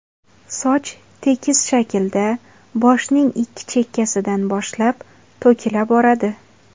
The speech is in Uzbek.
Soch tekis shaklda, boshning ikki chakkasidan boshlab to‘kila boradi.